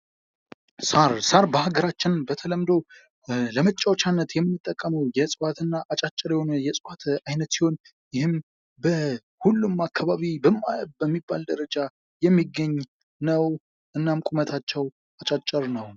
ሣር ሳር በሀገራችን በተለምዶ ለመጫዎቻነት የምንጠቀመው እጽዋትና አጫጭር የሆነ የፅዋት አይነት ሲሆን ይህም በሁሉም አካባቢ በሚባል ደረጃ የሚገኝ ነው:: እናም ቁመታቸው አጫጭር ነው ::